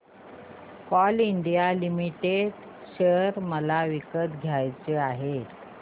Coal India limited share मला विकत घ्यायचे आहेत